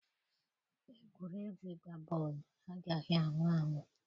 Egwuregwu ịgba bọọlụ agaghị anwụ anwụ.